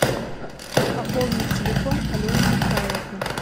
пополнить телефон алены михайловны